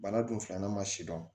Bana dun filanan ma sidɔn